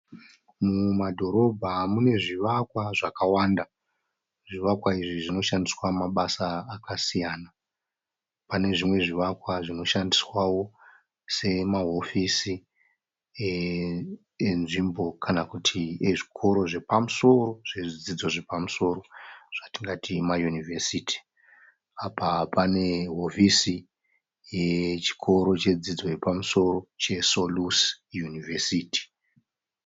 Mumadhorobha mune zvivakwa zvakawanda. Zvivakwa izvi zvinoshandiswa mabasa akasiyana. Pane zvimwe zvivakwa zvinoshandiswawo semahofisi enzvimbo kana kuti ezvikoro zvepamusoro zvezvidzidzo zvepamusoro zvatingati mayunivhesiti. Apa pane hofisi yechikoro chedzidzo yepamusoro cheSolusi University.